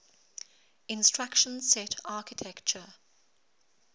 instruction set architecture